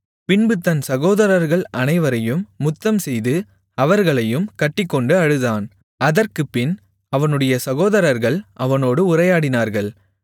பின்பு தன் சகோதரர்கள் அனைவரையும் முத்தம்செய்து அவர்களையும் கட்டிக்கொண்டு அழுதான் அதற்குப்பின் அவனுடைய சகோதரர்கள் அவனோடு உரையாடினார்கள்